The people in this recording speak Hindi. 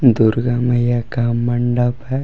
दुर्गा मैया का मंडप है।